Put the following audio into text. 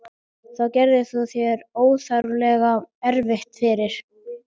Þá gerir þú þér óþarflega erfitt fyrir.